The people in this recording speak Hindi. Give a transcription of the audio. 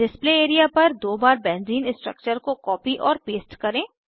डिस्प्ले एरिया पर दो बार बेंज़ीन स्ट्रक्चर को कॉपी और पेस्ट करें